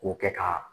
K'o kɛ ka